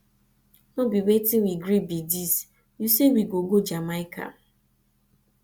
no be wetin we gree be dis you say we go go jamaica